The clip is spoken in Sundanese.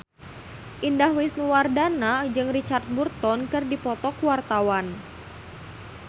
Indah Wisnuwardana jeung Richard Burton keur dipoto ku wartawan